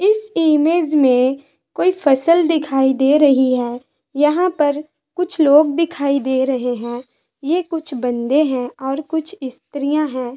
इस इमेज में कोई फसल दिखाई दे रही है यहां पर कुछ लोग दिखाई दे रहे है ये कुछ बन्दे है और कुछ स्त्रियां है।